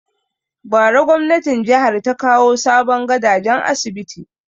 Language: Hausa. Bara gwamnatin jihar ta kawo sabon gadajen asibiti